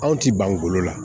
Anw ti bangolo la